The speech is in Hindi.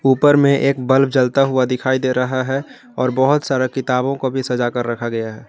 उपर में एक बल्ब जलता हुआ दिखाई दे रहा है और बहुत सारा किताबों को भी सजाकर रखा गया है।